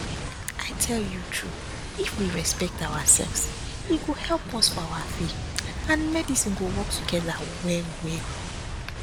i tell you true if we respect ourselves e go help us for our faith and medicine go work together well well